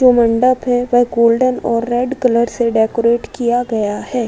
जो मंडप है वो रेड और गोल्डन कलर से डेकोरेट किया गया है।